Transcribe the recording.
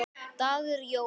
dagur jóla.